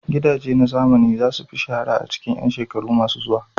Gidaje na zamani za su fi shahara a cikin 'yan shekaru masu zuwa.